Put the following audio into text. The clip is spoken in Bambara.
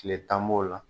Tile tan b'o la